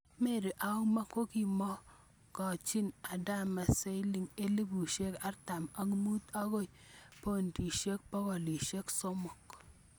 Mary auma ko kimokokachin adama siling elepusiek artam ak mut akoi pondisiek pogolisiek somok